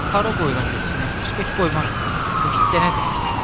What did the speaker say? Hara qoyuram getsin, heç qoymaram, heç dənə də.